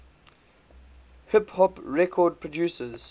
hip hop record producers